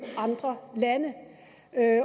andre lande